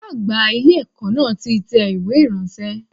Ọ̀gá àgbà ilé ẹ̀kọ́ náà ti tẹ ìwé ránṣẹ́